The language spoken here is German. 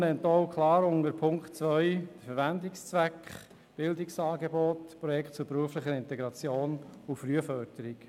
Die Motion nennt unter Punkt 2 klar den Verwendungszweck: Bildungsangebote, Projekte zur beruflichen Integration und Frühförderung.